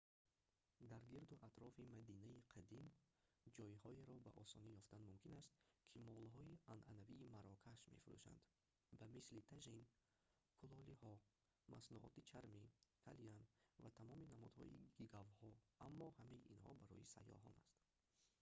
дар гирду атрофи мадинаи қадим ҷойҳоеро бо осонӣ ёфтан мумкин аст ки молҳои анъанавии марокаш мефурӯшанд ба мисли тажин кулолиҳо маснуоти чармӣ калян ва тамоми намудҳои гигавҳо аммо ҳамаи инҳо ин барои сайёҳон аст